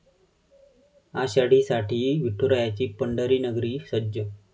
आषाढीसाठी विठुरायाची पंढरीनगरी सज्ज!